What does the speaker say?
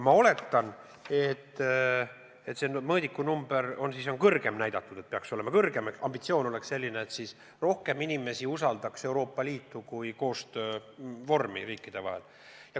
Ma oletan, et see mõõdikunumber on siis kõrgem pandud, et näidata, et see peaks kõrgem olema ehk ambitsioon on selline – siis rohkem inimesi usaldaks Euroopa Liitu kui riikidevahelise koostöö vormi.